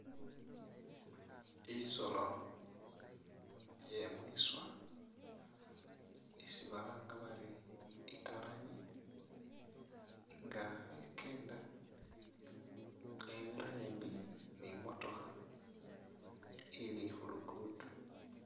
Isolo ye mwiswa isi balanga bari italangi nga khekeenda khebira ambi ni i'motokha ili khu lugudo.